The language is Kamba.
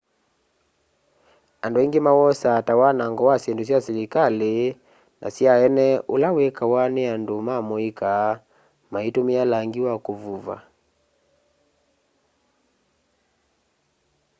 andu aingi mawosaa ta wanango wa syindũ sya silikali na sya eene ula wikawa ni andũ ma mũika maitumia langi wa kuvũva